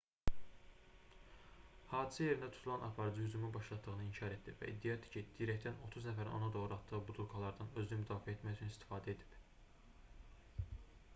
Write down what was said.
hadisə yerində tutulan aparıcı hücumu başlatdığını inkar etdi və iddia etdi ki dirəkdən 30 nəfərin ona doğru atdığı butulkalardan özünü müdafiə etmək üçün istifadə edib